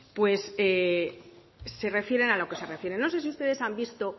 pues se refieren a lo que se refieren no sé si ustedes han visto